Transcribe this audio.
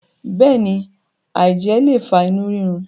béèni, aijẹ le fa inu rirun.